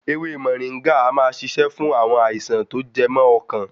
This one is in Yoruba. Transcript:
Ewé Mọ̀ríngà a máa ṣiṣẹ́ fún àwọn àìsàn tó jẹ mọ́ ọkàn.